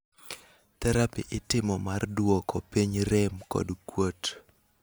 therapi itimo mar duoko piny rem kod kuot